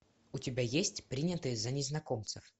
у тебя есть принятые за незнакомцев